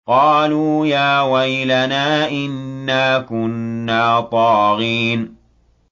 قَالُوا يَا وَيْلَنَا إِنَّا كُنَّا طَاغِينَ